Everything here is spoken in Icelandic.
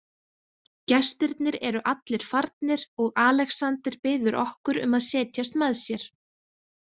Gestirnir eru allir farnir og Alexander biður okkur um að setjast með sér.